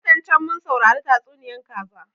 Watan can mun saurari tatsuniyan kaza